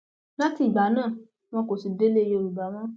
láti ìgbà náà wọn kò sì délé yorùbá mọ